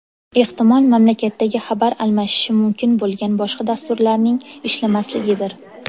Ehtimol mamlakatdagi xabar almashishi mumkin bo‘lgan boshqa dasturlarning ishlamasligidir.